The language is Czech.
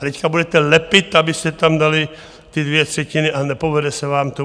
A teď budete lepit, abyste tam dali ty dvě třetiny a nepovede se vám to.